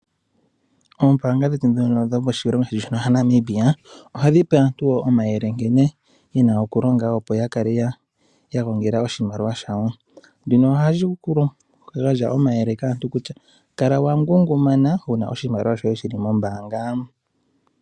Oombaanga dhetu ndhono dho moshilongo shetu sha Namibia, oha dhi pe aantu omayele, ngene yena oku longa opo ya kale ya gongela oshimaliwa, shawo. Shino oha shi gandja omayele kaatu kutya, kala wa ngunguma uuna oshimaliwa shoye shi li mombaanga.